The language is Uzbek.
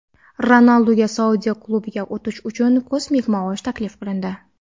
Ronalduga Saudiya klubiga o‘tish uchun kosmik maosh taklif qilindi.